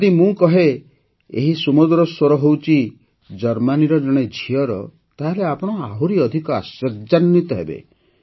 ଯଦି ମୁଁ କହେ ଯେ ଏହି ସୁମଧୁର ସ୍ୱର ହେଉଛି ଜର୍ମାନୀର ଜଣେ ଝିଅର ତାହେଲେ ଆପଣ ଆହୁରି ଅଧିକ ଆଶ୍ଚର୍ଯ୍ୟାନ୍ୱିତ ହେବେ